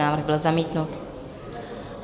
Návrh byl zamítnut.